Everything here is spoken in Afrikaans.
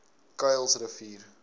kuilsrivier